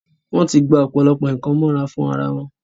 wọ́n ti gba ọ̀pọ̀lọpọ̀ nǹkan mọ́ra fún ara wọn.